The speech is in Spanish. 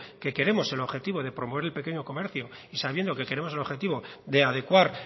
que queremos el objetivo de promover el pequeño comercio y sabiendo que queremos el objetivo de adecuar